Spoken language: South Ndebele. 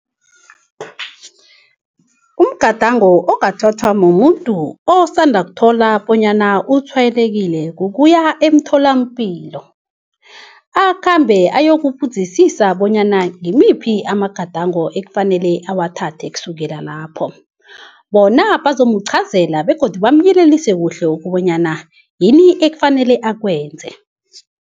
Umgadango ongathathwa mumuntu osanda kuthola bonyana utshwayelekile kukuya emtholampilo. Akhambe ayokubuzisisa bonyana ngimiphi amagadango ekufanele awathathe kusukela lapho. Bona bazomuqhazela begodu bamlayelise kuhle ukobanyana yini ekufanele akwenze.